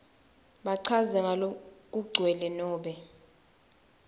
bachaze ngalokugcwele nobe